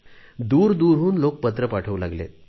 दूर दूरहून लोक पत्रे पाठवू लागले आहे